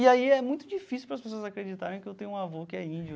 E aí é muito difícil para as pessoas acreditarem que eu tenho um avô que é índio,